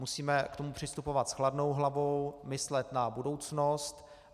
Musíme k tomu přistupovat s chladnou hlavou, myslet na budoucnost.